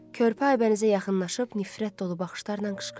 Körpə Aybənizə yaxınlaşıb nifrət dolu baxışlarla qışqırdı.